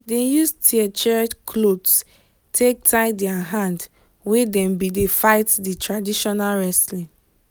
dem use tear trear clothe take tie their hand when dem been dey fight di traditional wrestling